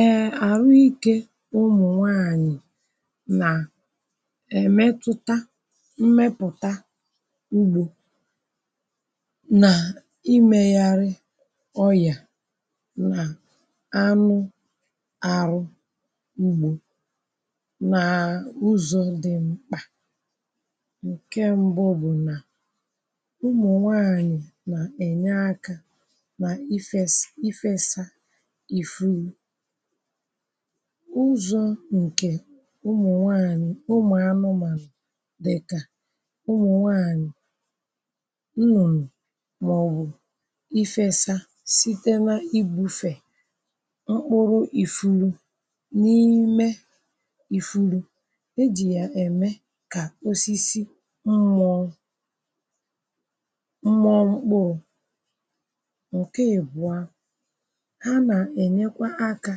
ee, àrụ ikė ụmụ̀nwaànyị̀ nà èmetuta mmepụ̀ta ugbȯ nà imeghàrị ọyà nà anụ àrụ ugbȯ nàà ụzọ̇ dị̀ mkpà ǹke mbụ bụ̀ nà ụmụ̀nwaànyị̀ nà-ènye akȧ nà ifes, ifesa ịfu ụzọ̀ nkè ụmụ̀nwaanị̀ ụmụ̀anụmànụ̀ dịkà ụmụ̀nwaanyị̀ nnụnụ̀ màọ̀bụ̀ ifesa sitere igbu̇fè mkpụrụ ifulu n’ime ifulu e jì ya eme kà osisi mmụọ mmụọ mkpụrụ nke ebua ha na enyekwa aka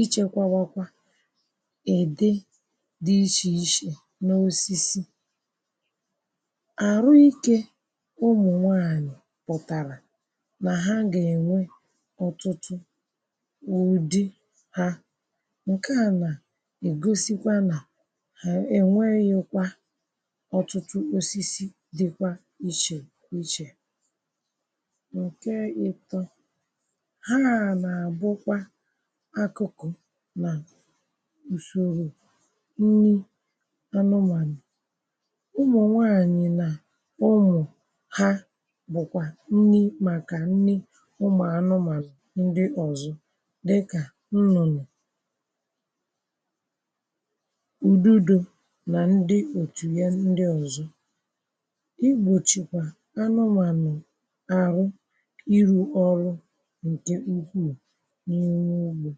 echekwabakwa ède di ichè ichè n’osisi àrụ ikė ụmụ̀nwaànyụ̀ pụ̀tàrà nà ha gà-ènwe ọtụtụ u̇di ha n’ke à nà ègosikwa nà hà enweghikwa ọtụtụ osisi dịkwa ichè ichè ǹke ịtọ ha na abụkwa akụkụ na ùsòrò nni anụmanụ̀ ụmụ̀nwaanyị nà ụmụ̀ ha bụ̀kwà nni màkà nni ụmụ̀ anụmanụ̀ ndị ọzọ dịkà nnụnụ ùdudo nà ndị òtù ya ndị ọzọ igbochikwa anụmanụ̀ arụ iru ọrụ nke ukwuu na ime ugbo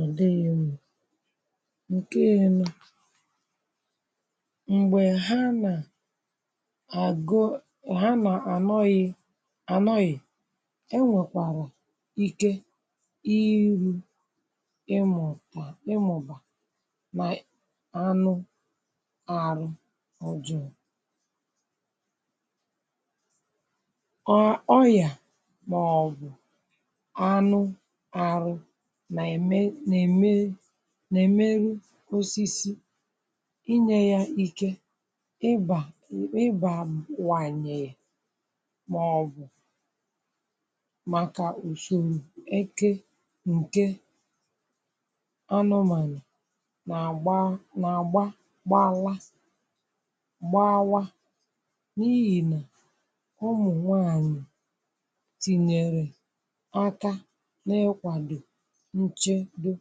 ọ dịghị m ǹke ịnọ m̀gbè ha nà àgụ ha nà ànọghị ànọghị e nwèkwàrà ike iru ịmụ̇ bà ịmụ̇ bà nà anụ arụ ọjụ̇ụ̇ ọ ọ yà màọbụ̀ anụ arụ na eme na eme nà-èmeru osisi inyė ya ike ịbà ịbaa wànyè màọbụ̀ màkà usoro eke nke anụmànụ̀ nà-àgba na-agba gbawa gbawa n’ihì nà ụmụ̀nwaanyị̀ tinyere aka n' ikwado nchedo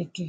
eke.